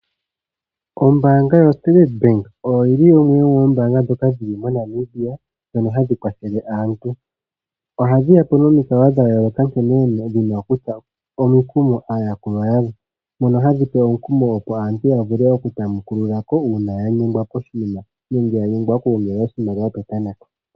Ombaanga yoStandard Bank oyo yi li yimwe yoombaanga ndhoka dhi li moNamibia ndhono hadhi kwathele aantu. Ohadhi ya po nomikalo dha yooloka nkene dhi na okutsa omikumo aayakulwa yadho. Mono hadhi pe omukumo opo aantu ya vule oku tamekulula ko uuna ya nyengwa koshinima nenge ya nyengwa oku gongela oshimaliwa petameko.